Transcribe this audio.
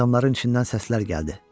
Adamların içindən səslər gəldi.